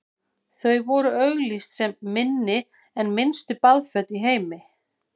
þau voru auglýst sem „minni en minnstu baðföt í heimi“